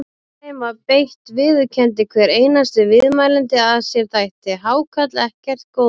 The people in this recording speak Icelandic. Þegar þeim var beitt viðurkenndi hver einasti viðmælandi að sér þætti hákarl ekkert góður.